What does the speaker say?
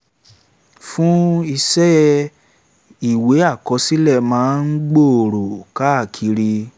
fún iṣẹ́ ìwé àkọsílẹ̀ máa ń gbòòrò káàkiri